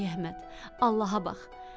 Ay Əhməd, Allaha bax.